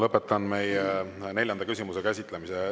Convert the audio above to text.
Lõpetan meie neljanda küsimuse käsitlemise.